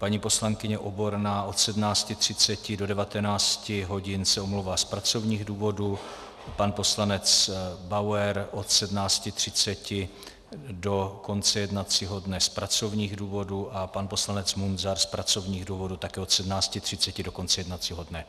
Paní poslankyně Oborná od 17.30 do 19 hodin se omlouvá z pracovních důvodů, pan poslanec Bauer od 17.30 do konce jednacího dne z pracovních důvodů a pan poslanec Munzar z pracovních důvodů také od 17.30 do konce jednacího dne.